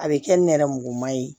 A bɛ kɛ nɛrɛmuguma ye